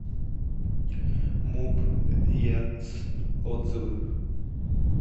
муп еркц отзывы